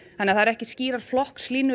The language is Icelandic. það eru ekki skýrar flokkslínur